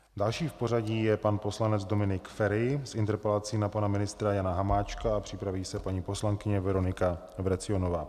Dalším v pořadí je pan poslanec Dominik Feri s interpelací na pana ministra Jana Hamáčka a připraví se paní poslankyně Veronika Vrecionová.